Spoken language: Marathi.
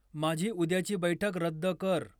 माझी उद्याची बैठक रद्द कर